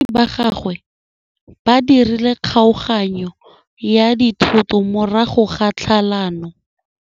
Batsadi ba gagwe ba dirile kgaoganyô ya dithoto morago ga tlhalanô.